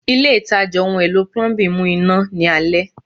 Ile itaja ohun elo Plumbing mu ina ni alẹ